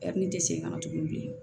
ne tɛ segin ka na tuguni bilen